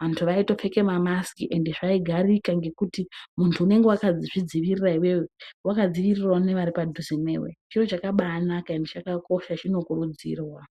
vantu vaitopfeka mamasiki ende zvaigarika ngekuti muntu unenge wakazvidzivirira iwewe wakadzivirira nevari padhuze newe chiro chakabanaka ende chakakosha chinokurudzirwa.